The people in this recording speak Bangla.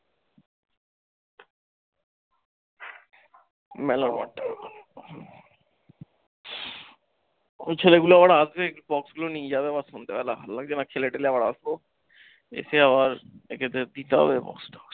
ছেলেগুলো আবার আসবে একটু box গুলো নিয়ে যাবে আবার সন্ধ্যেবেলা ভাল লাগছে না খেলে তেলে আবার আসবো, এসে আবার একে তো দিতে হবে box টা।